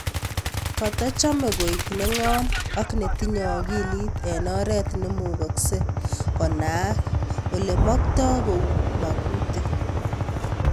Katachame koek neng'om ak netinye akilit en oret nemugaksei konaaak olamaktai kou mang'utik